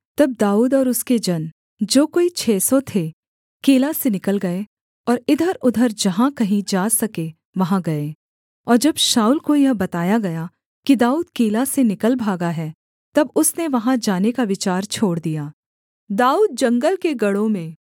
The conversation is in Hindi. तब दाऊद और उसके जन जो कोई छः सौ थे कीला से निकल गए और इधरउधर जहाँ कहीं जा सके वहाँ गए और जब शाऊल को यह बताया गया कि दाऊद कीला से निकल भागा है तब उसने वहाँ जाने का विचार छोड़ दिया